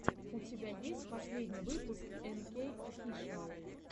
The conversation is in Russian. у тебя есть последний выпуск энкей офишиал